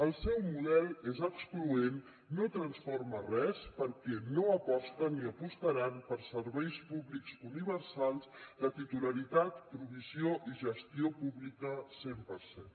el seu model és excloent no transforma res perquè no aposten ni apostaran per serveis públics universals de titularitat provisió i gestió pública cent per cent